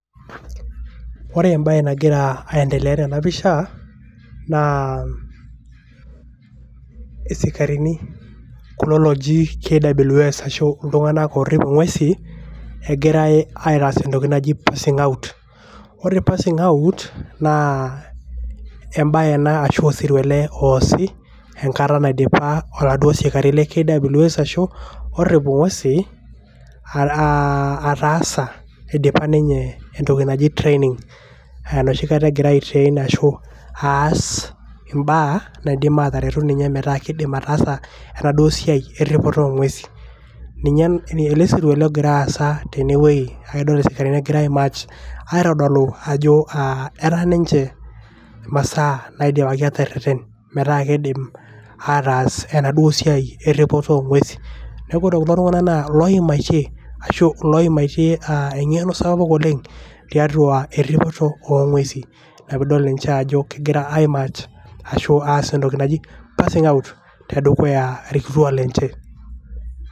ore embae nagira aendelea tena pisha isikarini kulo loji KWS ashu iltunganak orip ingwesin egirae aitaas naji passing out. ore passing out naa embae ena ashu osirua ele oosi enkata naidipa enkata naidipa oladuo sikari le KWS ashu orrip ingwesi aa ataasa indipa ninye entoki naji training enoshi kata egira ai train ashu aas imbaa naidim ataretu ninye metaa kidim ataasa enaduoo siai eripoto oongwesi. ninye osirua ogira aasa tenewuei naa idol isikarini egira ae march aitodolu ajo etaa ninche masaa naidipaki atereren metaa kidim ataas enaduo siai eripoto oongwesin. niaku ore kulo tunganak naa ilooimaitie ashu ilooimaitie engeno sapuk tiatua eripoto oongwesin niaku idol ninche ajo egira aas entoki naji passing tedukuya irkituaak lenche.